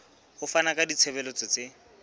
ho fana ka ditshebeletso tse